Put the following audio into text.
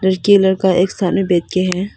लड़की लड़का एक साथ में बैठे हैं।